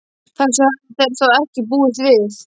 Þessu höfðu þeir þó ekki búist við.